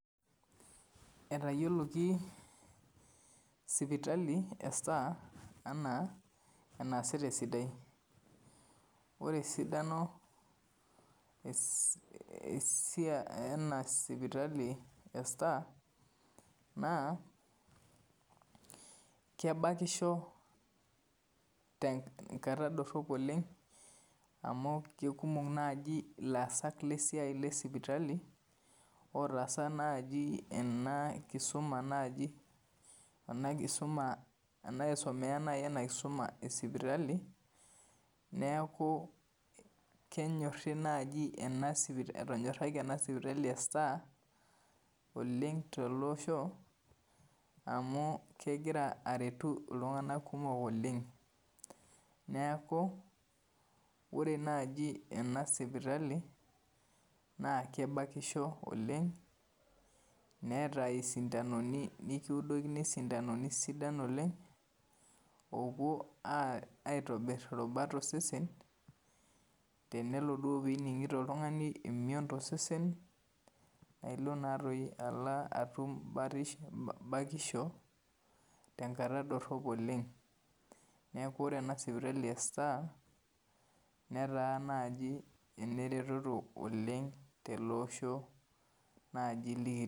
Etayioki sipitali ee star anaa enaasita esidaii ore esidano ena sipitali ee star naa kebakisho tenkata dorop oleng amu kutik ilaasak le sipitali lotaasa ena kisuma naaji anaa aitumia ena kisuma esipitali, neeku kenyorri naaji entonyoraki enaa sipitali ee star oleng tolosho amu kegira aretu iltungana kumok oleng neeku ore naaji ena sipitali naa kebakisho oleng neeta isindanoni nikiudolini isindanoni sidan oleng oopuoo aitobirr irubat osesen tenelo duoo piinigito oltungani emion tosesen naa Ilo naatoi atum baatisho tenkata dorop oleng neeku kore ena sipitali ee star meetaa naaji eneretoto oleng tele osho naaji likitii.